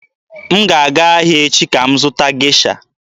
M ga-aga ahịa echi ka m zụta Gesha.